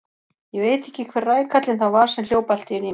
Ég veit ekki hver rækallinn það var sem hljóp allt í einu í mig.